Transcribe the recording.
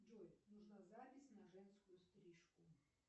джой нужна запись на женскую стрижку